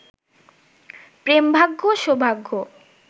প্রেমভাগ্য সৌভাগ্য